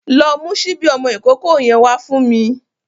Lọ mu ṣíbí ọmọ ìkókó yẹn wá fún me.